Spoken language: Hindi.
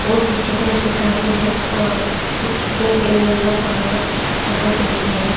और पीछे तरफ दिखाया गया है अह कुछ ब्लैक एंड येलो कलर का कुछ पत्थर में बैठ के है।